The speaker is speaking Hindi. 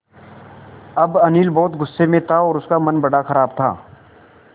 अब अनिल बहुत गु़स्से में था और उसका मन बड़ा ख़राब था